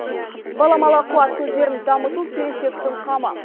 баламалы қуат көздерін дамыту келешектің қамы